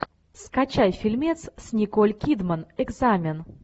скачай фильмец с николь кидман экзамен